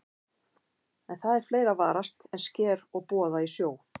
En það er fleira að varast en sker og boða í sjó.